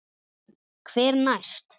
Hver næst?